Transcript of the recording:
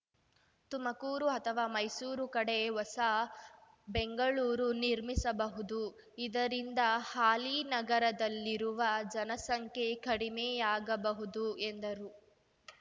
ತುಮಕೂರು ಅಥವಾ ಮೈಸೂರು ಕಡೆ ಹೊಸ ಬೆಂಗಳೂರು ನಿರ್ಮಿಸಬಹುದು ಇದರಿಂದ ಹಾಲಿ ನಗರದಲ್ಲಿರುವ ಜನಸಂಖ್ಯೆ ಕಡಿಮೆಯಾಗಬಹುದು ಎಂದರು